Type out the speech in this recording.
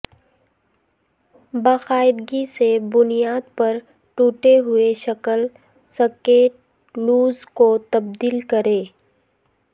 باقاعدگی سے بنیاد پر ٹوٹے ہوئے شکل سکیٹ لوز کو تبدیل کریں